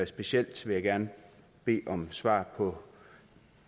specielt vil jeg gerne bede om svar på